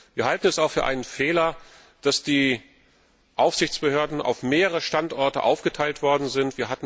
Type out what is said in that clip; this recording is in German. Wir halten es auch für einen Fehler, dass die Aufsichtsbehörden auf mehrere Standorte aufgeteilt worden sind.